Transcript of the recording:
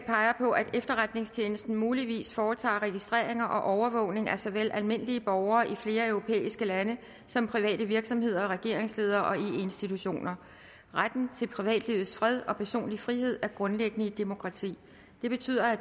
peger på at efterretningstjenesten muligvis foretager registreringer og overvågning af såvel almindelige borgere i flere europæiske lande som private virksomheder regeringsledere og eu institutioner retten til privatlivets fred og personlig frihed er grundlæggende i et demokrati det betyder at